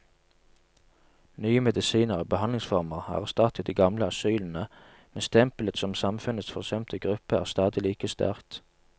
Nye medisiner og behandlingsformer har erstattet de gamle asylene, men stempelet som samfunnets forsømte gruppe er stadig like sterkt.